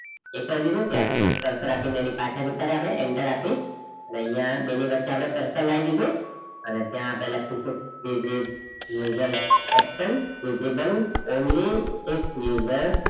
એ કરીસું પછી આપણે cursor આપીને એની પાસે જતા રહે આપડે enter આપી અને અહીંયા બેની વચ્ચે આપડે cursor લઇ દીધું અને ત્યાં આપેલા users action visible only if user